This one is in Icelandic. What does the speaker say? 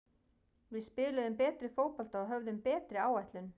Við spiluðum betri fótbolta og höfðum betri áætlun.